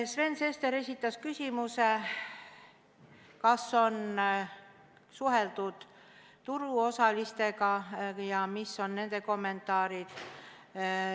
Sven Sester esitas küsimuse, kas on suheldud turuosalistega ja mis on nende kommentaarid.